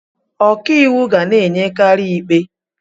Ọka iwu ga na-enyekari ikpe.